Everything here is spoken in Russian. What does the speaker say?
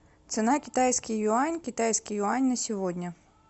цена китайский юань китайский юань на сегодня